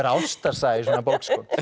ástarsaga í svona bók